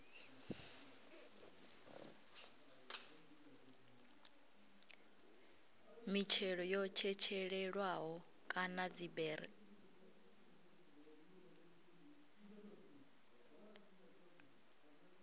mitshelo yo tshetshelelwaho kana dziberi